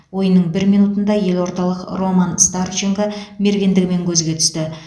ойынның бір минутында елордалық роман старченко мергендігімен көзге түсті